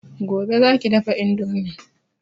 Gobe za ki dafa indomin